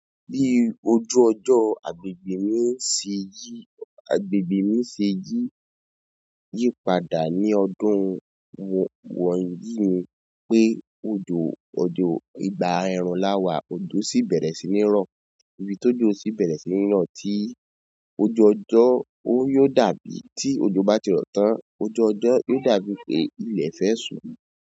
Bí ojú ọjọ́ agbègbè mi se yí, agbègbè mi se yí, yí padà ní ọdún wọ̀nyí ni pé ojò, odò ìgbà ẹrun láwà, ojò sì bẹ̀rẹ̀ sí ní rọ, ibi t'ójo sì bẹ̀rẹ̀ sí ní rọ tí ojú ọjọ́ ó yóò dàbí tí ojo bá ti rọ tán. Ojú ọjọ́ yóò dàbí pé ilẹ̀ fẹ́ suù.